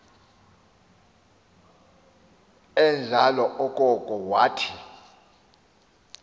enjalo okoko wathi